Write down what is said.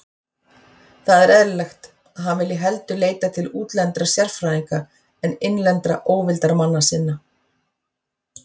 Það er eðlilegt, að hann vilji heldur leita til útlendra sérfræðinga en innlendra óvildarmanna sinna.